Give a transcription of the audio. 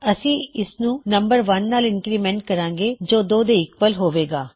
ਅਸੀਂ ਉਸਨੂੰ 1 ਨਾਲ ਇੰਨਕਰੀਮੈਨਟ ਕਰਾਂਗੇ ਜੋ 2 ਦੇ ਈਕਵਲ ਹੋਵੇਗਾ